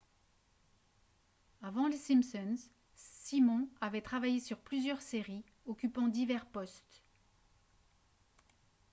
avant les simpsons simon avait travaillé sur plusieurs séries occupant divers postes